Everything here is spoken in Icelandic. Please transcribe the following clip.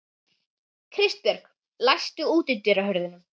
Kristbjörg, læstu útidyrunum.